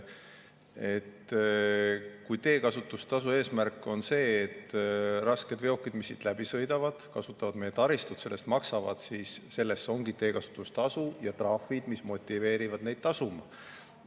Kui teekasutustasu eesmärk on see, et rasked veokid, mis siit läbi sõidavad, kasutades meie taristut, selle eest maksavad, siis selle eest ongi teekasutustasu, ja trahvid motiveerivad seda tasuma.